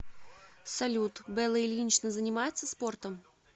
салют белла ильинична занимается спортом